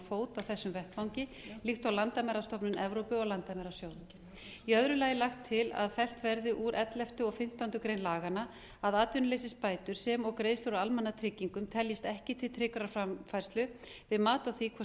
fót á þessum vettvangi líkt og landamærastofnun evrópu og landamæra í öðru lagi er lagt til að fellt verði úr elleftu grein laganna að atvinnuleysisbætur sem og greiðslur úr almannatryggingum teljist ekki til tryggrar framfærslu við mat á því hvort